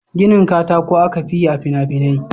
Ginin katako aka fi yi a fina-finai.